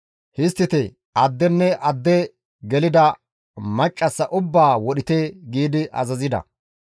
Histtite addenne adde gelida maccassa ubbaa wodhite» giidi azazida.